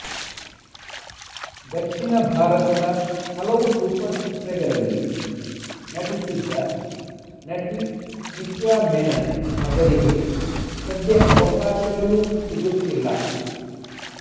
ದಕ್ಷಿಣ ಭಾರತದ ಹಲವು ಸೂಪರ್ ಚಿತ್ರಗಳಲ್ಲಿ ನಟಿಸಿದ್ದ ನಟಿ ನಿತ್ಯಾ ಮೆನನ್ ಅವರಿಗೆ ಸದ್ಯ ಅವಕಾಶಗಳು ಸಿಗುತ್ತಿಲ್ಲ